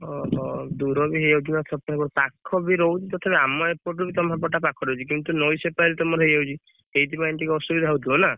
ଓହୋ ଦୂର ବି ହେଇଯାଉଛି ନା ସେପଟକୁ ପାଖ ବି ରହୁଛି ତଥାପି ଆମ ଏପଟରୁ ତମ ସେପଟଟା ପାଖ ରହୁଛି କିନ୍ତୁ ନଈ ସେପାରି ତମର ହେଇଯାଉଛି ସେଇଥିପାଇଁ ଟିକେ ଅସୁବିଧା ହଉଥିବ ନା?